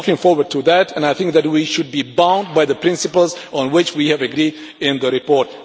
I am looking forward to that and I think that we should be bound by the principles on which we have agreed in this report.